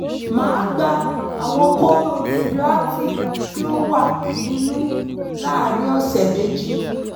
màá gba àwọn kóóró radioactive tí ó wà nínú láàárín ọ̀sẹ̀ méjì